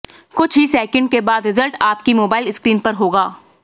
कुछ ही सेकेंड के बाद रिजल्ट आपकी मोबाइल स्क्रीन पर होगा